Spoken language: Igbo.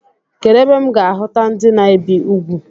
Kedụ ebe m ga-ahuta ndị na-ebi ugwu?